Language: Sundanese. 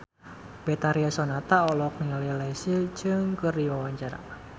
Betharia Sonata olohok ningali Leslie Cheung keur diwawancara